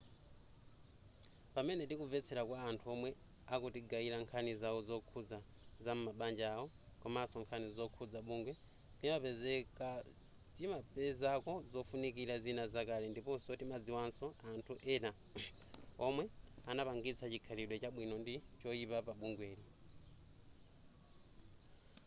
pamene tikumvetsera kwa anthu omwe akutigayira nkhani zawo zokhuza zam'mabanja awo komaso nkhani zokhuza bungwe timapezako zofunikira zina zakale ndiponso timadziwanso anthu ena omwe anapangitsa chikhalidwe chabwino ndi choyipa pa bungweli